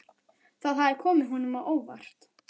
Það hafði komið honum á óvart.